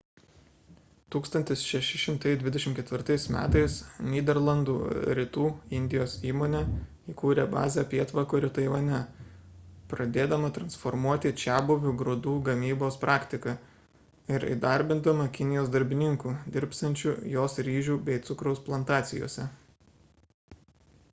1624 m nyderlandų rytų indijos įmonė įkūrė bazę pietvakarių taivane pradėdama transformuoti čiabuvių grūdų gamybos praktiką ir įdarbindama kinijos darbininkų dirbsiančių jos ryžių bei cukraus plantacijose